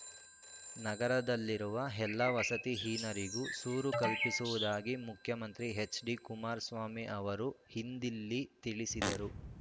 ನಗರದಲ್ಲಿರುವ ಎಲ್ಲಾ ವಸತಿಹೀನರಿಗೂ ಸೂರು ಕಲ್ಪಿಸುವುದಾಗಿ ಮುಖ್ಯಮಂತ್ರಿ ಹೆಚ್ಡಿ ಕುಮಾರಸ್ವಾಮಿ ಅವರು ಇಂದಿಲ್ಲಿ ತಿಳಿಸಿದರು